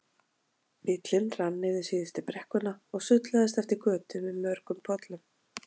Bíllinn rann niður síðustu brekkuna og sullaðist eftir götu með mörgum pollum.